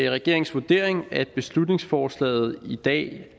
regeringens vurdering at beslutningsforslaget i dag